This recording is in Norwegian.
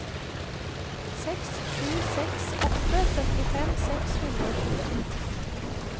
seks sju seks åtte syttifem seks hundre og tjue